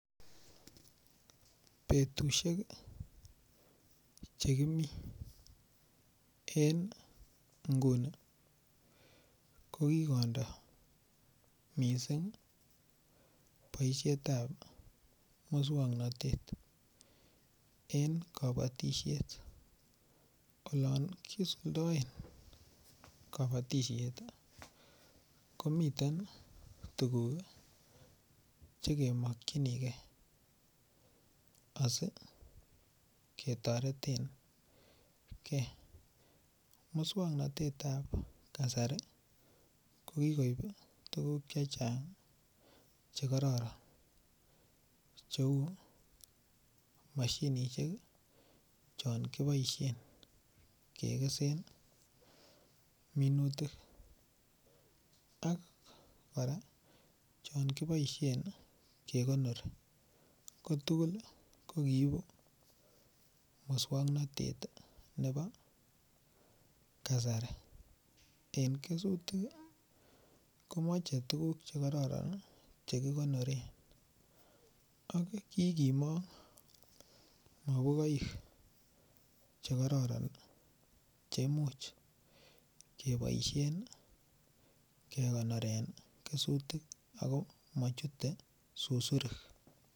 Betushek chekimii en nguni ko kikondo mising boishet ap muswongnotet eng kobotishet olon kisuldaen kobotishet komiten tukuk chekemokchinigei asikoketoretengei muswongnotet ap kasari kokikoip tukuk che chang chekororon cheu mashinishek chon kiboishen kekesen minutik ak kora chon kiboishen kekonori ko tugul ko kiipu muswongnotet nebo kasari eng kesutik komochei tukuk chekororon chekikonore ak kikimong mopukoik chekororon cheimuch keboishen kekonoren kesutik ako machute susurik.